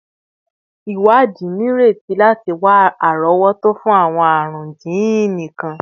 Iwadi nireti lati wa arowoto fun awọn arun jiini kan